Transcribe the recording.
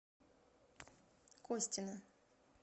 костина